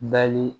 Bali